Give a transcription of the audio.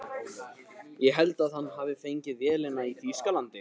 Ég held að hann hafi fengið vélina í Þýskalandi.